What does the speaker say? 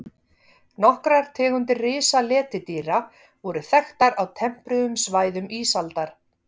Nokkrar tegundir risaletidýra voru þekktar á tempruðum svæðum ísaldar.